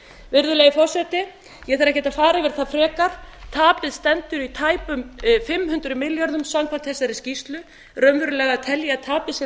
virðulegi forseti ég þarf ekkert að fara yfir það frekar tapið stendur í tæpum fimm hundruð milljörðum samkvæmt þessari skýrslu raunverulega tel ég að tapið sé